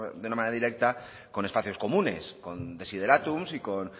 de una manera directa con espacios comunes con desiderátums y con